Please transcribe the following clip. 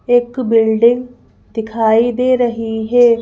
एक बिल्डिंग दिखाई दे रही है।